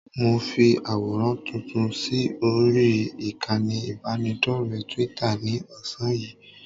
Mo fi àwòrán tuntun sí orí ìkànnì ìbánidọ́rẹ̀ẹ́ Twitter ní ọ̀sán yìí